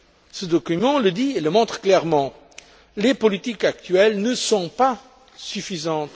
Ce document le dit et le montre clairement les politiques actuelles ne sont pas suffisantes.